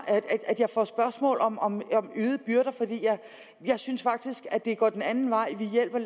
at jeg får spørgsmål om om øgede byrder for jeg synes faktisk at det er gået den anden vej vi hjælper